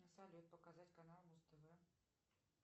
салют показать канал муз тэвэ